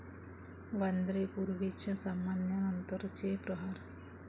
वांद्रे पूर्वच्या सामन्यानंतरचे 'प्रहार'